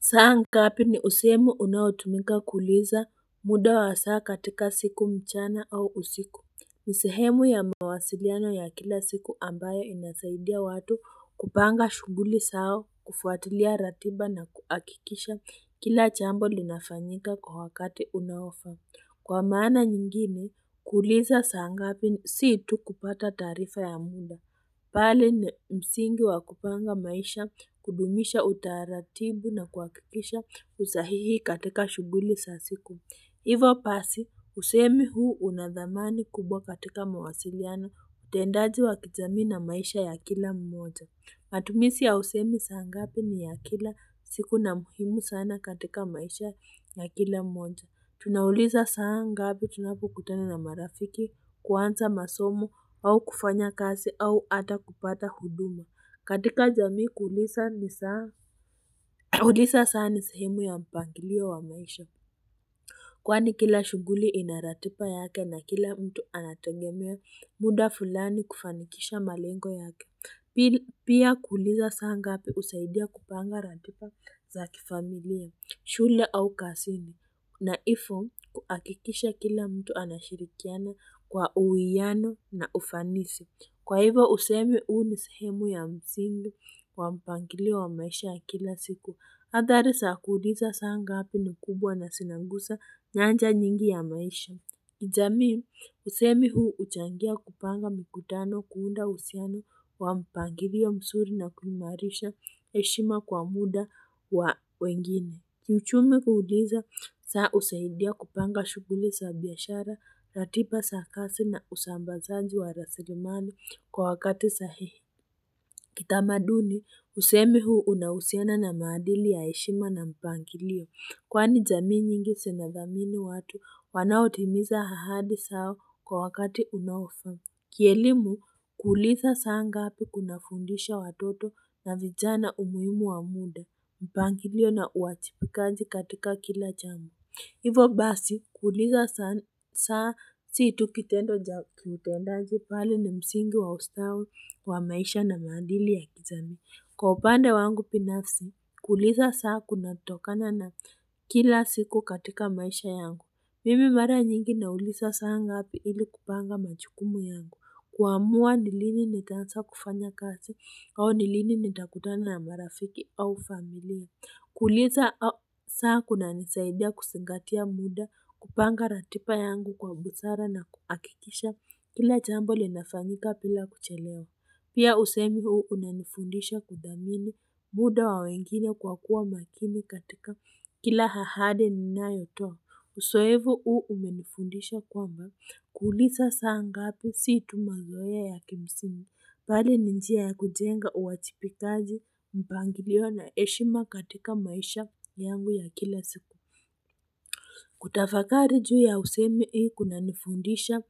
Saa ngapi ni usemi unaotumika kuuliza muda wa saa katika siku mchana au usiku ni sehemu ya mawasiliano ya kila siku ambayo inasaidia watu kupanga shughuli zao kufuatilia ratiba na kuhakikisha kila jambo linafanyika kwa wakati unaofaa Kwa maana nyingine kuliza saa ngapi sii tu kupata taarifa ya muda bali ni msingi wa kupanga maisha kudumisha utaratibu na kuhakikisha usahihi katika shughuli za siku hivo basi usemi huu una dhamani kubwa katika mawasiliano utendaji wa kijamii na maisha ya kila mmoja matumizi ya usemi saa ngapi ni ya kila siku na muhimu sana katika maisha ya kila mmoja Tunauliza saa ngapi tunapokutana na marafiki kuanza masomo au kufanya kazi au hata kupata huduma katika jamii kuuliza saa ni sehemu ya mpangilio wa maisha Kwani kila shughuli ina ratiba yake na kila mtu anategemea muda fulani kufanikisha malengo yake Pia kuuliza saa ngapi husaidia kupanga ratiba za kifamilia shule au kazini na hivo kuhakikisha kila mtu anashirikiana kwa uwiano na ufanisi Kwa hivo usemi huu ni sehemu ya msingi kwa mpangilio wa maisha ya kila siku Hadhari za kuuliza saa ngapi ni kubwa na zinagusa nyanja nyingi ya maisha jamii usemi huu huchangia kupanga mikutano kuunda uhusiano wa mpangilio mzuri na kuhimarisha heshima kwa muda wa wengine Kiichumi kuuliza saa husaidia kupanga shughuli za biashara ratiba za kazi na usambazaji wa rasilimali kwa wakati sahihi Kitamaduni usemi huu unahusiana na maadili ya heshima na mpangilio kwani jamii nyingi zinathamini watu wanaotimiza ahadi zao kwa wakati unaofaa kielimu kuuliza saa ngapi kunafundisha watoto na vijana umuhimu wa muda mpangilio na uwajibikaji katika kila jambo hivo basi kuuliza saa sii tu kitendo cha kiutendaji bali ni msingi wa ustawi wa maisha na maadili ya kijamii kwa upande wangu binafsi kuuliza saa kunatokana na kila siku katika maisha yangu mimi mara nyingi nauliza saa ngapi ili kupanga majukumu yangu kuamua ni lini nitaanza kufanya kazi au ni lini nitakutana na marafiki au familia kuuliza saa kunanisaidia kuzingatia muda kupanga ratiba yangu kwa busara na kuhakikisha kila jambo linafanyika bila kuchelewa pia usemi huu unanifundisha kuthamini muda wa wengine kwa kuwa makini katika kila ahadi ninayotoa uzoefu huu umenifundisha kwamba kuuliza saa ngapi si tu mazoea ya kimsimu bali ni njia ya kujenga uwajibikaji mpangilio na heshima katika maisha yangu ya kila siku kutafakari juu ya usemi hii kunanifundisha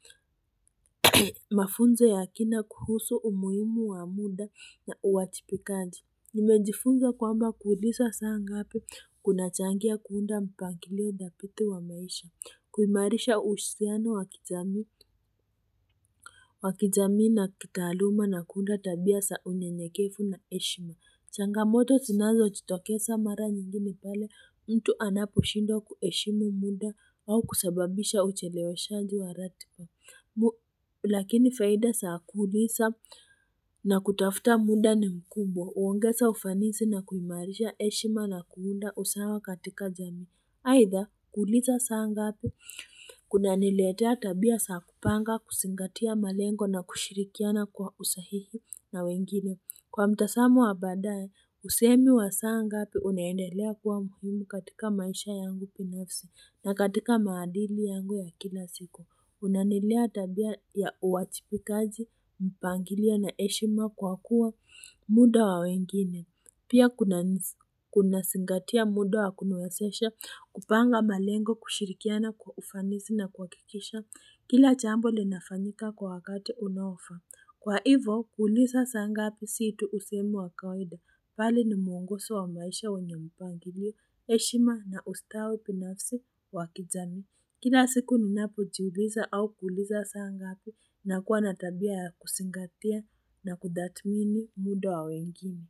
mafunzo ya kina kuhusu umuhimu wa muda na uwajibikaji Nimejifunza kwamba kuuliza saa ngapi kunachangia kuunda mpangilio thabiti wa maisha kuimarisha uhusiano wa kijamii na kitaaluma na kuunda tabia za unyenyekevu na heshima changamoto zinazojitokeza mara nyingi ni pale mtu anaposhindwa kuheshima muda au kusababisha ucheleweshaji wa ratiba Lakini faida za kuuliza na kutafuta muda ni mkumbwa huongeza ufanisi na kuimarisha heshima na kuunda usawa katika jamii aidha kuuliza saa ngapi kunaniletea tabia za kupanga kuzingatia malengo na kushirikiana kwa usahihi na wengine Kwa mtazamo wa baadaye usemi wa saa ngapi unaendelea kuwa muhimu katika maisha yangu binafsi na katika maadili yangu ya kila siku Unanilea tabia ya uwajibikaji mpangilio na heshima kwa kuwa muda wa wengine pia kunazingatia muda wa kuniwezesha kupanga malengo kushirikiana kwa ufanisi na kuhakikisha kila jambo linafanyika kwa wakati unaofaa Kwa hivyo kuuliza saa ngapi sio tu usemi wa kawaida bali ni mwongozo wa maisha wenye mpangilio heshima na ustawi binafsi wa kijamii Kila siku ninapojiuliza au kuuliza saa ngapi nakuwa na tabia ya kuzingatia na kutathmini muda wa wengine.